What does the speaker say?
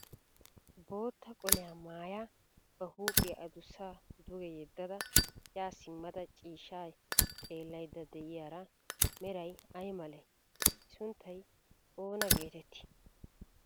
Bootta qoliya mayyada ba huuphiyaa adussaa duge yeddada yaa simmada ciishshaa xeellayidda diyaari meray ay malee? I sunttay oona geetettii?